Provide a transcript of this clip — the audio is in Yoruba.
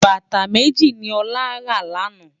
Bátá méji ni Ola rá làná